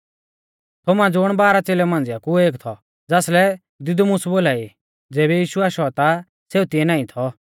थोमा ज़ुण बाराह च़ेलेऊ मांझ़िआ कु एक थौ ज़ासलै दिदुमुस बोलाई ज़ेबी यीशु आशौ ता सेऊ तिऐ नाईं थौ